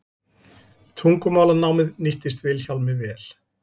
tungumálanámið nýttist vilhjálmi vel